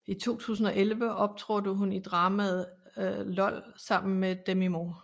I 2011 optrådte hun i dramaet LOL sammen med Demi Moore